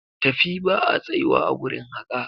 Tafi ba a tsayuwa a gurin haƙa!